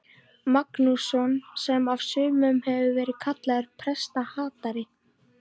Magnússon, sem af sumum hefur verið kallaður prestahatari.